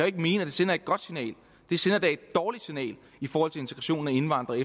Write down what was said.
ikke mene at det sender et godt signal det sender da et dårligt signal i forhold til integrationen af indvandrere